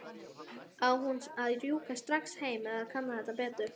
Á hún að rjúka strax heim eða kanna þetta betur?